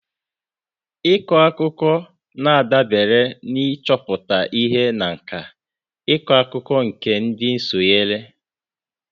Ịkọ akụkọ na-adabere n'ichepụta ihe na nkà ịkọ akụkọ nke ndị sonyere.